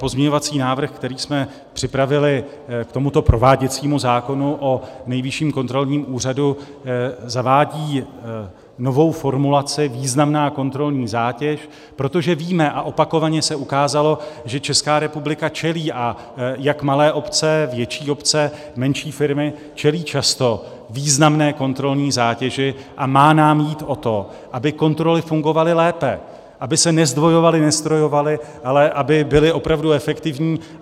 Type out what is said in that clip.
Pozměňovací návrh, který jsme připravili k tomuto prováděcímu zákonu o Nejvyšším kontrolním úřadu, zavádí novou formulaci "významná kontrolní zátěž", protože víme a opakovaně se ukázalo, že Česká republika čelí, a jak malé obce, větší obce, menší firmy čelí často významné kontrolní zátěži, a má nám jít o to, aby kontroly fungovaly lépe, aby se nezdvojovaly, neztrojovaly, ale aby byly opravdu efektivní.